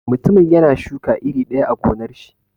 Mutumin yana shuka iri daya a gonnar shi.